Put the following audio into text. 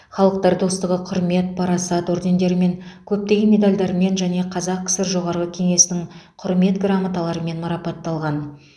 халықтар достығы құрмет парасат ордендерімен көптеген медальдармен және қазақ кср жоғарғы кеңесінің құрмет грамоталарымен марапатталған